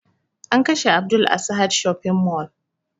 An kashe abdul a sahad shopping mall